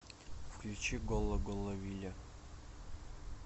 включи голло голло вилли